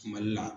Mali la